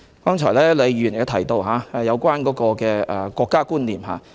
剛才李慧琼議員亦提到國家觀念。